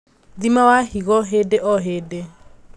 Thima wa higo hĩndĩ o hĩndĩ